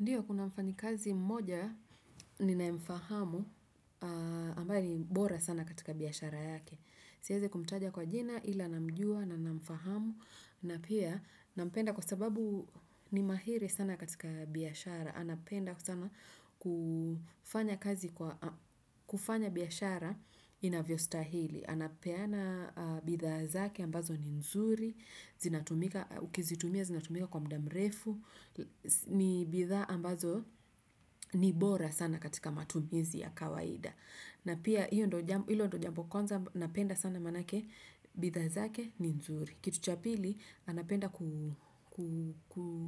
Ndio kuna mfanyikazi mmoja ninaemfahamu ambaye ni bora sana katika biashara yake. Siezi kumtaja kwa jina ila namjua na namfahamu na pia nampenda kwa sababu ni mahiri sana katika biashara. Anapenda sana kufanya kazi kwa kufanya biashara inavyo stahili. Anapeana bidhaa zake ambazo ni nzuri, ukizitumia zinatumika kwa mda mrefu, ni bidhaa ambazo ni bora sana katika matumizi ya kawaida. Na pia hilo ndo jambo kwanza napenda sana manake bidhaa zake ni nzuri. Kitu cha pili, anapenda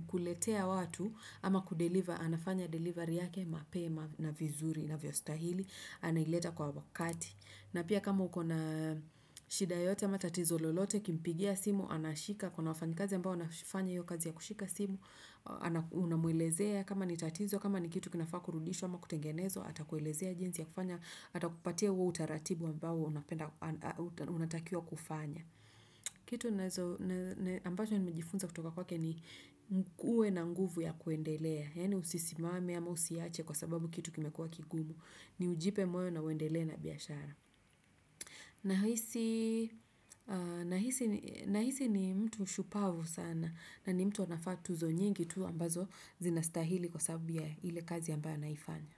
kuletea watu ama kudeliver, anafanya delivery yake mapema na vizuri inavyostahili, anaileta kwa wakati. Na pia kama uko na shida yoyote ama tatizo lolote, kimpigia simu, anashika, kuna wafanyikazi ambao wanafanya iyo kazi ya kushika simu, unamuelezea kama ni tatizo, kama ni kitu kinafaa kurudishwa ama kutengenezwa, atakuelezea jinsi ya kufanya, atakupatia uo utaratibu ambao unatakiwa kufanya. Kitu ambacho nimejifunza kutoka kwake ni uwe na nguvu ya kuendelea. Yani usisimame ama usiache kwa sababu kitu kimekuwa kigumu. Ni ujipe moyo na uendelee na biashara. Nahisi ni mtu shupavu sana na ni mtu anafaa tuzo nyingi tu ambazo zinastahili kwa sababu ya ile kazi ambayo anaifanya.